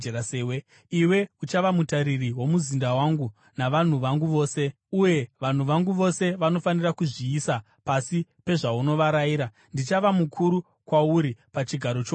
Iwe uchava mutariri womuzinda wangu, navanhu vangu vose, uye vanhu vangu vose vanofanira kuzviisa pasi pezvaunovarayira. Ndichava mukuru kwauri pachigaro choushe chete.”